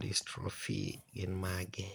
dystrophy gin mage?